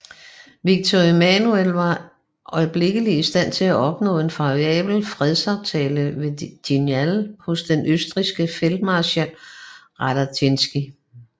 Victor Emmanuel var øjeblikkeligt i stand til at opnå en favorabel fredsaftale ved Vignale hos den østrigske feltmarskal Radetzky